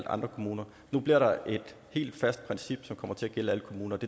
andre kommuner nu bliver der et helt fast princip som kommer til at gælde